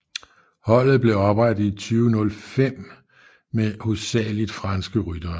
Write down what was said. Holdet blev oprettet i 2005 med hovedsageligt franske ryttere